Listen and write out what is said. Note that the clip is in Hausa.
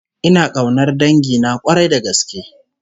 Ina kaunar dangina k'warai da gaske